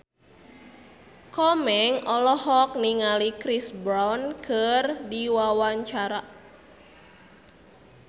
Komeng olohok ningali Chris Brown keur diwawancara